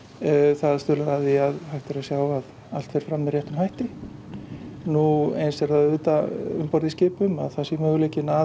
það stuðlar að því að allt fer fram með réttum hætti nú eins er auðvitað um borð í skipum að það sé möguleiki að